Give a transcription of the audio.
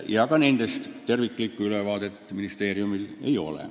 Ja ka nendest terviklikku ülevaadet ministeeriumil ei ole.